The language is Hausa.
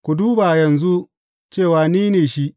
Ku duba yanzu cewa ni ne Shi!